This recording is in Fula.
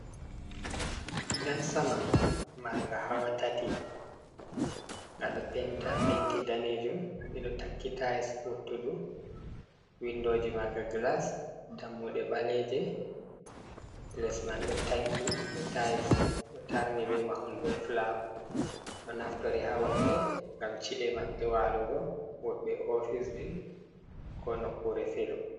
Gidan sama marnga hawa tati ngado penta penti danejum, ɓeɗo tanki tiles wottudu windoji manga glas dammuɗe ɓaleje les man ɗo tanki be tiles ɗo tarni be mahol be flawa, ɗo naftori ha woɓɓe ngam chi’e maɓɓe walugo woɓɓe oficeji ko nokkure filu.